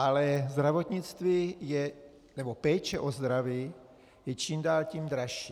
Ale zdravotnictví nebo péče o zdraví je čím dál tím dražší.